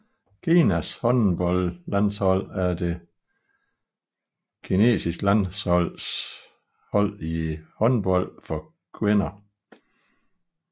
Kinas håndboldlandshold er det kinesiske landshold i håndbold for kvinder